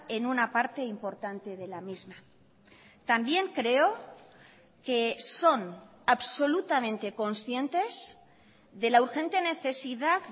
en una parte importante de la misma también creo que son absolutamente conscientes de la urgente necesidad